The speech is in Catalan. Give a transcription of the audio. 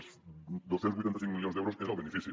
els dos cents i vuitanta cinc milions d’euros és el benefici